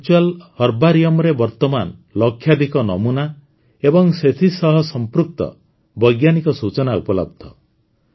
ଏହି ଭର୍ଚୁଆଲ୍ ହର୍ବାରିଅମରେ ବର୍ତ୍ତମାନ ଲକ୍ଷାଧିକ ନମୁନା ଏବଂ ସେଥିସହ ସଂପୃକ୍ତ ବୈଜ୍ଞାନିକ ସୂଚନା ଉପଲବ୍ଧ